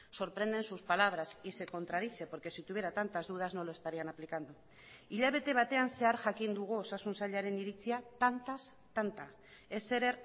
sorprenden sus palabras y se contradice porque si tuviera tantas dudas no lo estarían aplicando hilabete batean zehar jakin dugu osasun sailaren iritzia tantaz tanta ezer